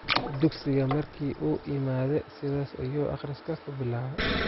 Dugsiga markii uu iimade sidhas ayu akriska kubilawe.